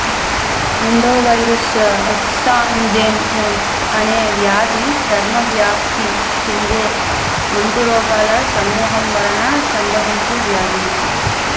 ఎండోవైరస్ exanthema అనే వ్యాధి చర్మ వ్యాప్తి చెందే అంటురోగాల సమూహం వలన సంభవించే వ్యాధి